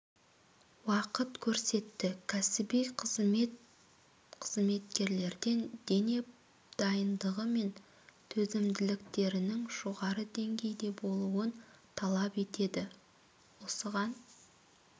уақыт көрсетті кәсіби қызмет қызметкерлерден дене дайындығы мен төзімділіктерінің жоғары деңгейде болуын талап етеді осыған